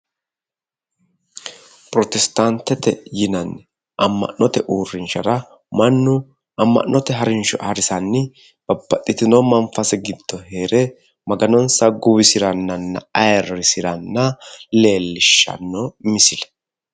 pirotistaanteete yinanni amma'note uurrinshara mannu amma'note harinsho harisanni babbaxxitino manfase giddo heere maganonsa ayiirrisirannanna guwisiranna leelishshanno misile